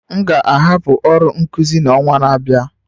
M ga-ahapụ ọrụ nkuzi n'ọnwa na-abịa